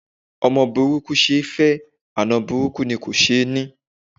Ọmọ burúkú ṣe é fẹ́, àna burúkú ni kò ṣeé ní